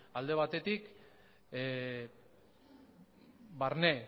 alde batetik barne